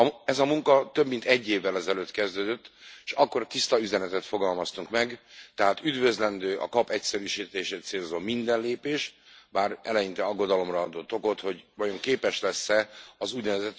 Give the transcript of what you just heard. Ez a munka több mint egy évvel ezelőtt kezdődött, s akkor tiszta üzenetet fogalmaztunk meg Tehát üdvözlendő a KAP egyszerűsítését célzó minden lépés, bár eleinte aggodalomra adott okot, hogy vajon képes lesz e az ún.